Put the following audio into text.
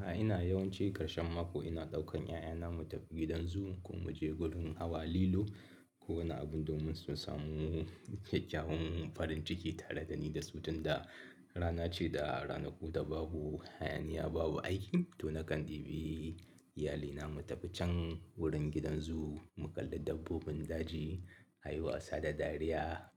Da ina yawanci ƙarshen mako ina ɗaukar ƴaƴana mu tafi gidan zoo, ko muje wajen hawa lilo. Ko wani abun domin su samu kyawawan farin ciki tare da ni da su tun da rana ce da ranaku da babu hayaniya babu aiki to nakan ɗebi iyalina mu tafi can wurin gidan zoo mu kalla dabbobin daji, a yi wasa da dariya